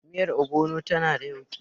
Miyar Ogbono tana da yauƙi.